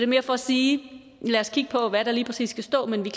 mere for at sige lad os kigge på hvad der lige præcis skal stå men vi